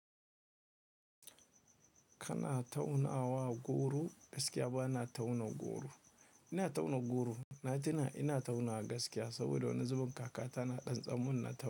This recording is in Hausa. Kana taunawa goro, gaskiya ba na tauna goro. Ina tauna goro, na tina ina tauna gaskiya saboda woni zubin kakata na ɗan tsam-min na tau.